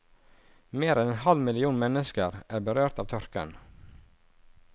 Mer enn en halv million mennesker er berørt av tørken.